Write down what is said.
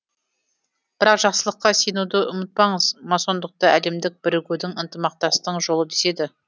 бірақ жақсылыққа сенуді ұмытпаңыз масондықты әлемдік бірігудің ынтымақтастың жолы деседі